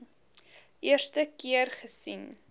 eerste keer gesien